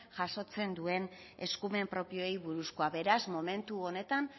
jasotzen duen eskumen propioei buruzkoa beraz momentu honetan